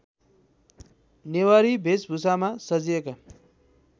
नेवारी भेषभुषामा सजिएका